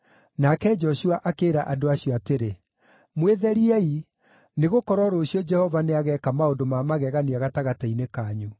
Nake Joshua akĩĩra andũ acio atĩrĩ, “Mwĩtheriei, nĩgũkorwo rũciũ Jehova nĩageeka maũndũ ma magegania gatagatĩ-inĩ kanyu.”